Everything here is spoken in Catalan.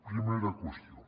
primera qüestió